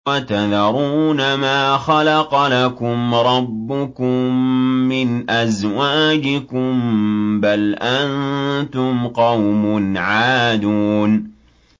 وَتَذَرُونَ مَا خَلَقَ لَكُمْ رَبُّكُم مِّنْ أَزْوَاجِكُم ۚ بَلْ أَنتُمْ قَوْمٌ عَادُونَ